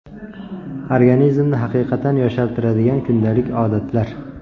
Organizmni haqiqatan yoshartiradigan kundalik odatlar.